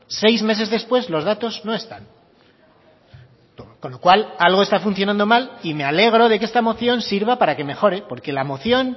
seis meses después los datos no están con lo cual algo está funcionando mal y me alegro de que esta moción sirva para que mejore porque la moción